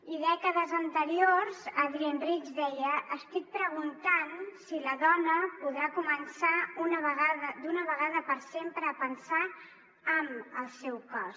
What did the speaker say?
i dècades anteriors adrienne rich deia estic preguntant si la dona podrà començar d’una vegada per sempre a pensar amb el seu cos